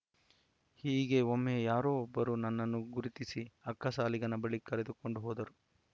ಹೀಗೆ ಒಮ್ಮೆ ಯಾರೋ ಒಬ್ಬರು ನನ್ನನ್ನು ಗುರುತಿಸಿ ಅಕ್ಕಸಾಲಿಗನ ಬಳಿ ಕರೆದುಕೊಂಡು ಹೋದರು